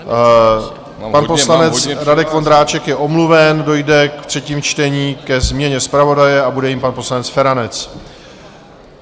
Pan poslanec Radek Vondráček je omluven, dojde v třetím čtení ke změně zpravodaje a bude jím pan poslanec Feranec.